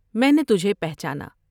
میں نے تجھے پہچانا ۔